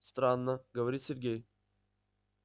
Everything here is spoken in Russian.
странно говорит сергей